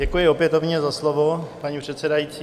Děkuji opětovně za slovo, paní předsedající.